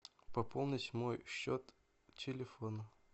пополнить мой счет телефона